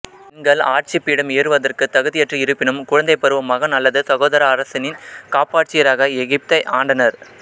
பெண்கள் ஆட்சி பீடம் ஏறுவதற்கு தகுதியற்று இருப்பினும் குழந்தைப் பருவ மகன் அல்லது சகோதர அரசினின் காப்பாட்சியராக எகிப்தை ஆண்டனர்